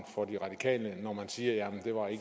for de radikale når man siger